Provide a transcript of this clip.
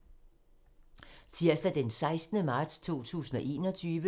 Tirsdag d. 16. marts 2021